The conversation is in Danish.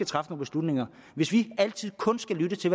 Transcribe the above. træffe beslutninger hvis vi altid kun skal lytte til